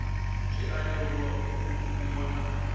zwi a leluwa u wana